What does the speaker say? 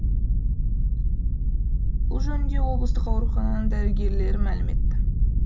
бұл жөнінде облыстық аурухананың дәрігерлері мәлім етті